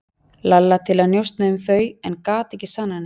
Lalla til að njósna um þau en gat ekki sannað neitt.